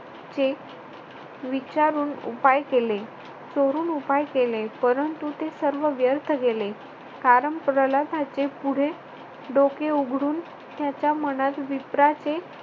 चे विचारून उपाय केले. चोरून उपाय केले परंतु ते सर्व व्यर्थ गेले. कारण प्रल्हादाचे पुढे डोके उघडून त्याच्या मनात विप्राचे